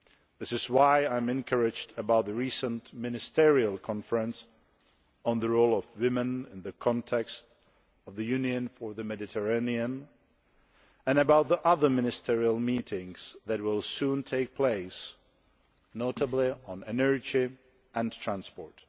This is why I am encouraged about the recent Ministerial conference on the role of women in the context of the Union for the Mediterranean, and about the other ministerial meetings that will soon take place, notably on energy and transport.